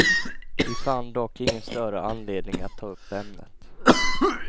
Vi fann dock ingen större anledning att ta upp ämnet.